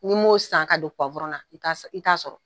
Ni m'o san ka don na i t'a sɔrɔ.